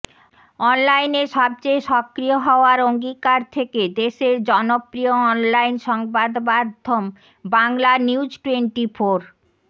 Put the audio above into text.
অনলাইনে সবচেয়ে সক্রিয় হওয়ার অঙ্গীকার থেকে দেশের জনপ্রিয় অনলাইন সংবাদমাধ্যম বাংলানিউজটোয়েন্টিফোর